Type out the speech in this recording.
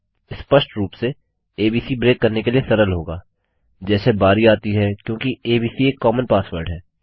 स्पष्ट रूप से एबीसी ब्रेक करने के लिए सरल होगा जैसे बारी आती है क्योंकि एबीसी एक कॉमन पासवर्ड है